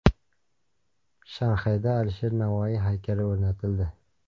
Shanxayda Alisher Navoiy haykali o‘rnatildi.